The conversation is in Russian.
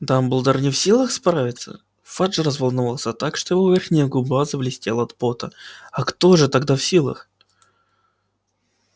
дамблдор не в силах справиться фадж разволновался так что его верхняя губа заблестела от пота а кто же тогда в силах